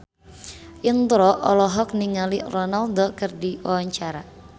Indro olohok ningali Ronaldo keur diwawancara